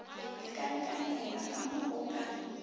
lekalekanela ka mo go ka